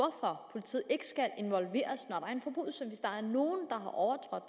politiet ikke skal involveres når